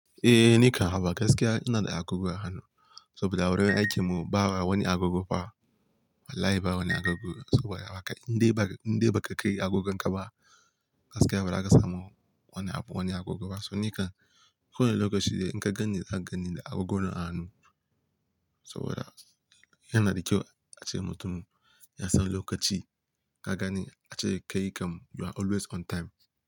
Eh, nikam haba gaskiya ina da agogo a hannu saboda wurin aikin mu bawa wani agogo ba. Wallahi ba wani agogo. Saboda haka in dai ba, in dai ba ka kai agogon ka ba gaskiya ba za ka samu wani abu wani agogo ba. To nikan ko wanne lokaci dai in ka gani za ka gani da agogo na a hanu saboda yana da kyau ace mutum ya san lokaci. Kagani ace kai kam you are always on time.